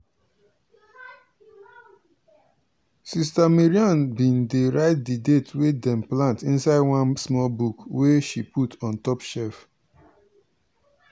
sis mariam bin dey write di date wey dem plant inside one small book wey she put on top shef.